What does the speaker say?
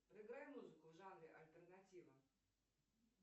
проиграй музыку в жанре альтернатива